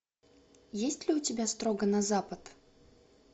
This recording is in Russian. есть ли у тебя строго на запад